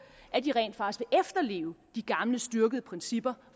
at de rent faktisk efterleve de gamle styrkede principper